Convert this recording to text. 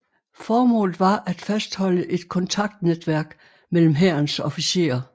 Formålet var at fastholde et kontaktnetværk mellem Hærens officerer